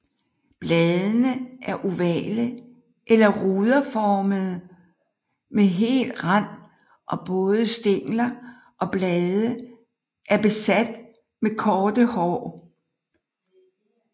Bladene er ovale eller ruderformede med hel rand og både stængler og blade er beat med korte hår